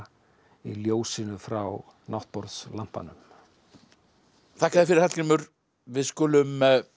í ljósinu frá náttborðslampanum þakka þér fyrir Hallgrímur við skulum